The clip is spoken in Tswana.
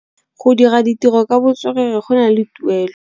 Go dira ditirô ka botswerere go na le tuelô.